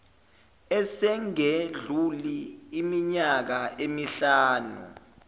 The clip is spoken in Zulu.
esingedluli iminyaka emihlanu